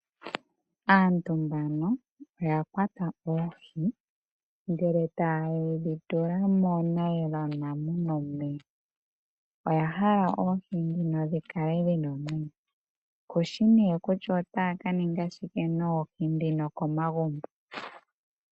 Aantu mbano oya kwata oohi ndele taye dhi tula moonayilona muna omeya. Oya hala oohi dhino dhi kale dhina omwenyo. Kushi nee kutya otaya ka ninga shike noohi dhino komagumbo.